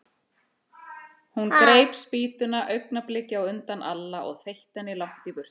Hún greip spýtuna augnabliki á undan Alla og þeytti henni langt í burtu.